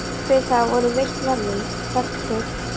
Fyrir það voru veitt verðlaun, ferð til